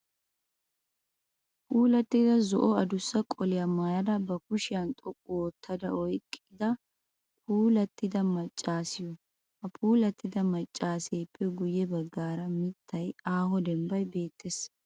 Puulattida zo'o adussa qoliyaa maayada bakushiyan xoqqu oottada oyqqida puulattida maccaasiyo. Ha puulattida maccaaseeppe guyye baggaara mittayinne aaho dembbayi beettes.